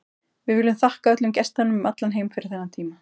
Við viljum þakka öllum gestunum um allan heim fyrir þennan tíma.